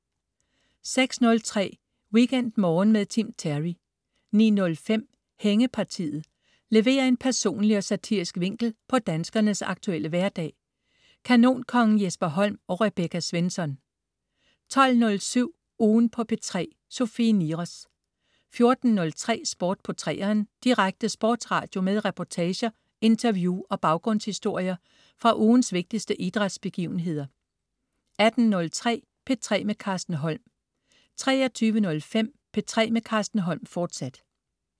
06.03 WeekendMorgen med Tim Terry 09.05 Hængepartiet. Leverer en personlig og satirisk vinkel på danskernes aktuelle hverdag. Kanonkongen Jesper Holm og Rebecca Svensson 12.07 Ugen på P3. Sofie Niros 14.03 Sport på 3'eren. Direkte sportsradio med reportager, interview og baggrundshistorier fra ugens vigtigste idrætsbegivenheder 18.03 P3 med Carsten Holm 23.05 P3 med Carsten Holm, fortsat